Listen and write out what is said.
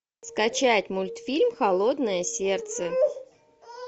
скачать мультфильм холодное сердце